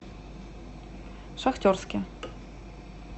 шахтерске